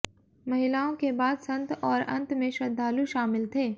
महिलाओं के बाद संत और अंत में श्रद्धालु शामिल थे